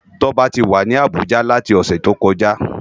Toba ti wá ni Abuja láti òsè tókòjá